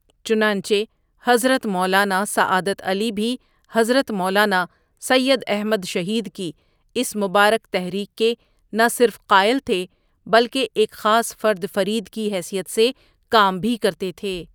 چنانچہ حضرت مولانا سعادت علی ؒ بھی حضرت مولانا سید احمد شہیدؒ کی اس مبارک تحریک کے نہ صرف قائل تھے بلکہ ایک خاص فرد فرید کی حیثیت سے کام بھی کرتے تھے ۔